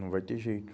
Não vai ter jeito.